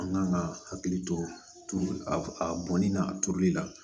An kan ka hakili to a bɔnni na a turuli la